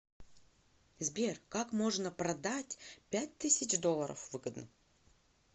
сбер как можно продать пять тысяч долларов выгодно